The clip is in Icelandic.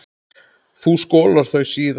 Þú skolar þau síðar.